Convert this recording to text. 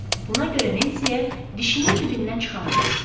buna görə Nensiyə dişinin dibindən çıxanı desin.